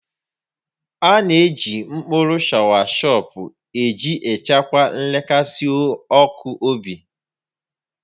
A na-eji mkpụrụ shọawashọp iji chịkwaa nrekasị ọkụ obi